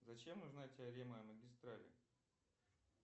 зачем нужна теорема о магистрали